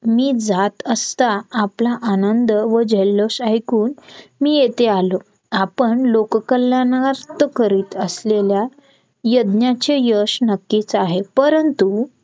मी जात आसता आपला आनंद व जल्लोष ऐकून मी येथे आलो आपण लोक कल्याणार्थ करीत असलेल्या यज्ञाची यश नक्कीच आहे परंतु